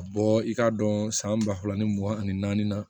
Ka bɔ i k'a dɔn san ba fila ni mugan ani naani na